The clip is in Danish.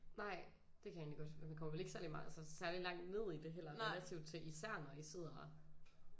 Nej det kan jeg egentlig godt man kommer vel ikke særlig altså særlig langt ned i det heller relativt til især når I sidder